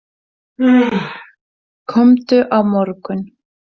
Komdu á morgun.